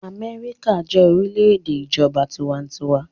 Amẹ́ríkà jẹ́ orílẹ̀-èdè ìjọba tiwantiwa.